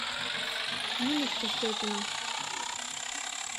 ниночка степина